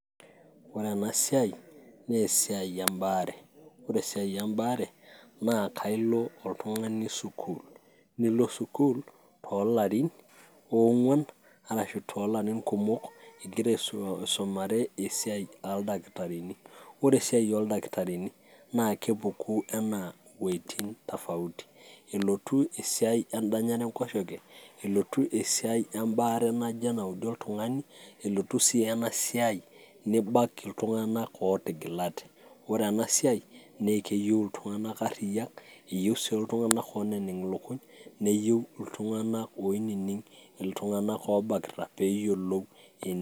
Ore enasiai, nesiai ebaare. Ore esiai ebaare, na kailo oltung'ani sukuul. Nilo sukuul tolarin ong'uan, arashu tolarin kumok, igira aisumare esiai oldakitarini. Ore esiai oldakitarini, naa kepuku enaa weiting' tofauti. Elotu esiai edanyare enkoshoke, elotu esiai ebaare naijo enaudi oltung'ani, elotu si enasiai nibak iltung'anak ootigilate. Ore enasiai, nekeyieu iltung'anak arriyiak, eyieu si iltung'anak oneneng' ilukuny, neyieu iltung'anak oinining' iltung'anak obakita peyiolou.